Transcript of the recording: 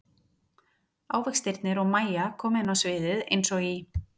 Ávextirnir og Mæja koma inn á sviðið eins og í